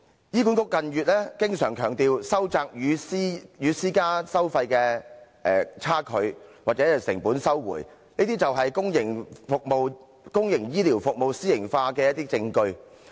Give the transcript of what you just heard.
醫管局近月經常強調，收窄與私營服務收費的差距或成本收回，這些就是公營醫療服務私營化的一些證據。